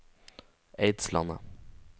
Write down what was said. Eidslandet